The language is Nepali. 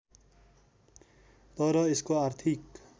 तर यसको आर्थिक